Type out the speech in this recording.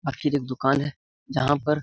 आखिर ये दुकान है जहाँ पर --